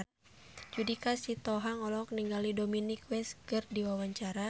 Judika Sitohang olohok ningali Dominic West keur diwawancara